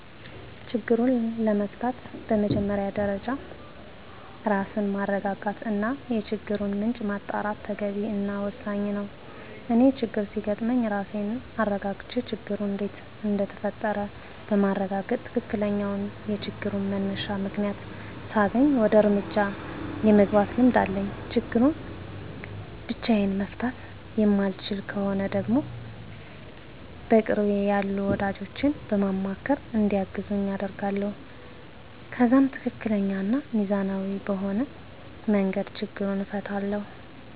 ችግሩን ለመፍታት በመጀመሪያ ደረጃ ራስን ማረጋጋት እና የችግሩን ምንጭ ማጣራት ተገቢ እና ወሳኝ ነው። እኔ ችግር ሲያጋጥም ራሴን አረጋግቼ ችግሩ እንዴት እንደተፈጠረ በማረጋገጥ ትክክለኛውን የችግሩን መነሻ ምክንያት ሳገኝ ወደ እርምጃ የመግባት ልምድ አለኝ። ችግሩን ብቻየን መፍታት የማልችለው ከሆነ ደግሞ በቅርቤ ያሉ ወዳጆቼን በማማካር እንዲያግዙኝ አደርጋለሁ። ከዛም ትክክለኛ እና ሚዛናዊ በሆነ መንገድ ችግሩን እፈታለሁ።